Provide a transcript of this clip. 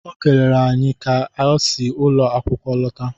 Ọ kelere anyị ka ọ si ụlọ akwụkwọ lọta